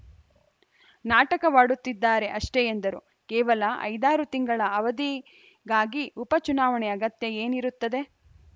ನಾಟಕವಾಡುತ್ತಿದ್ದಾರೆ ಅಷ್ಟೆಎಂದರು ಕೇವಲ ಐದಾರು ತಿಂಗಳ ಅವಧಿಗಾಗಿ ಉಪ ಚುನಾವಣೆಯ ಅಗತ್ಯ ಏನಿರುತ್ತದೆ